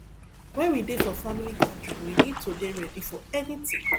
when we dey for family gathering we need to dey ready for anything